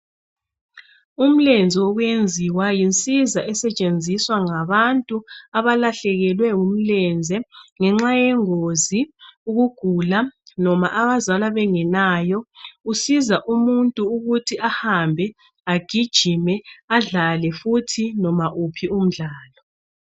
Ulenze wokwenziwa yinsiza esetshenziswa ngabantu abalahlekelwe ngumlenze ngenxa yengozi ukugula noma abazalwa bengelayo kusiza umuntu ukuthi ahambe ajigime adlale futhi noma uphi umdlalo .